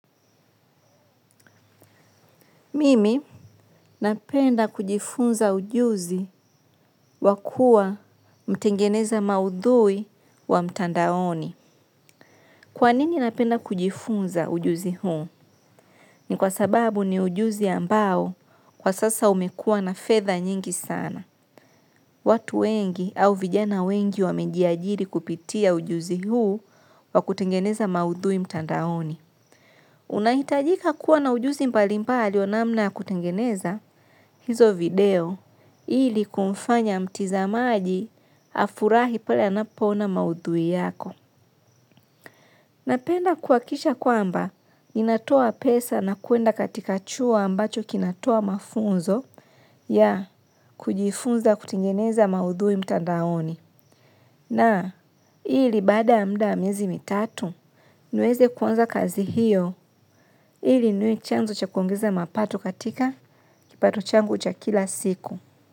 Mimi napenda kujifunza ujuzi wa kuwa mtengeneza maudhui wa mtandaoni. Kwa nini napenda kujifunza ujuzi huu? Ni kwa sababu ni ujuzi ambao kwa sasa umekuwa na fedha nyingi sana. Watu wengi au vijana wengi wamejiajiri kutumia mtandao huu wa kutengeneza maudhui mtandaoni. Unahitajika kuwa na ujuzi mbalimbali namna ya kutengeneza hizo video ili kumfanya mtazamaji hafurahi pale anapoona maudhui yako. Napenda kuhakikisha kwamba ninatoa pesa na kuenda katika chuo ambacho kinatoa mafunzo ya kujifunza kutengeneza maudhui mtandaoni. Na hili baada ya muda wa miezi mitatu niweze kuanza kazi hiyo hili niwe chanzo cha kuongeza mapato katika kipato changu cha kila siku.